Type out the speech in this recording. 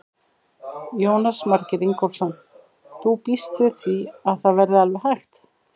Jónas Margeir Ingólfsson: Þú býst við því að það verði alveg hægt?